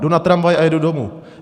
Jdu na tramvaj a jedu domů.